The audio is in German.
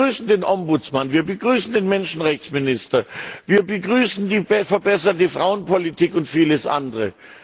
Wir begrüßen den Ombudsmann, wir begrüßen den Menschenrechtsminister, wir begrüßen die verbesserte Frauenpolitik und vieles andere.